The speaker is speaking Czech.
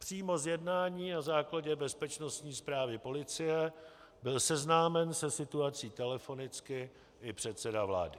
Přímo z jednání na základě bezpečnostní zprávy policie byl seznámen se situací telefonicky i předseda vlády.